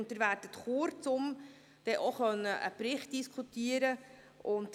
Sie werden in Kürze einen Bericht diskutieren können.